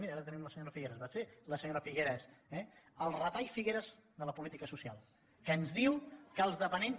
miri ara tenim la senyora figueras va ser la senyora figueras eh el retall figueras de la política social que ens diu que els dependents